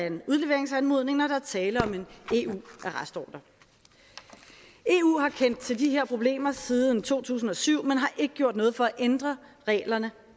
en udleveringsanmodning når der er tale om eu arrestordre eu har kendt til de her problemer siden to tusind og syv men har ikke gjort noget for at ændre reglerne